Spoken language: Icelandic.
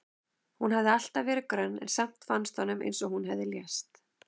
Hún hafði alltaf verið grönn en samt fannst honum eins og hún hefði lést.